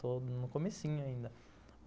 Estou no comecinho ainda.